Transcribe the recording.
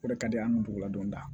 O de ka di an kunladonda